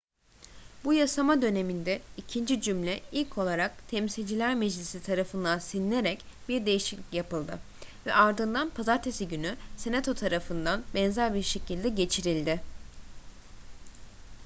bu yasama döneminde ikinci cümle ilk olarak temsilciler meclisi tarafından silinerek bir değişiklik yapıldı ve ardından pazartesi günü senato tarafından benzer bir şekilde geçirildi